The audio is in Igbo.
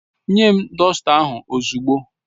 Nye m dọsta ahụ ozugbo!